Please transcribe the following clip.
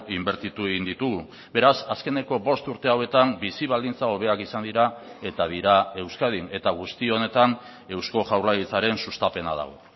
inbertitu egin ditugu beraz azkeneko bost urte hauetan bizi baldintza hobeak izan dira eta dira euskadin eta guzti honetan eusko jaurlaritzaren sustapena dago